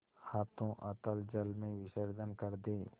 हाथों अतल जल में विसर्जन कर दे